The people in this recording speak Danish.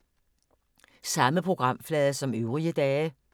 Samme programflade som øvrige dage